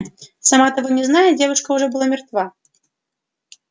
сама того не зная девушка уже была мертва